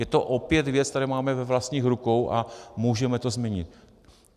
Je to opět věc, kterou máme ve vlastních rukou, a můžeme to změnit.